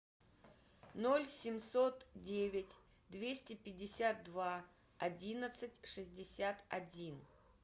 ноль семьсот девять двести пятьдесят два одиннадцать шестьдесят один